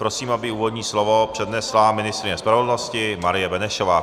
Prosím, aby úvodní slovo přednesla ministryně spravedlnosti Marie Benešová.